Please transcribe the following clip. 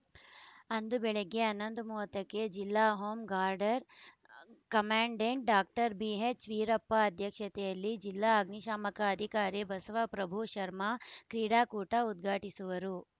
ಅಂದು ಬೆಳಿಗ್ಗೆ ಹನ್ನೊಂದು ಮೂವತ್ತಕ್ಕೆ ಜಿಲ್ಲಾ home girder commandant doctor BH Veerappa ಅಧ್ಯಕ್ಷತೆಯಲ್ಲಿ ಜಿಲ್ಲಾ ಅಗ್ನಿಶಾಮಕ ಅಧಿಕಾರಿ ಬಸವಪ್ರಭು ಶರ್ಮ ಕ್ರೀಡಾಕೂಟ ಉದ್ಘಾಟಿಸುವರು